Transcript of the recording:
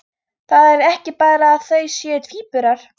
Það er ekki bara að þau séu tvíburar.